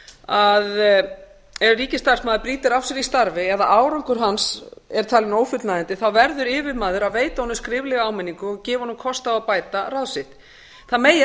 að ef ríkisstarfsmaður brýtur af sér í starfi ef árangur hans er talinn ófullnægjandi verður yfirmaður að veita honum skriflega áminningu og gefa honum kost á að bæta ráð sitt það megi